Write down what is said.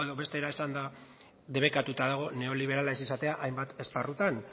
batera esanda debekatuta dago neoliberala ez izatea hainbat esparrutan